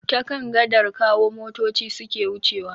Ta kan gadar Kawo motoci suke wucewa.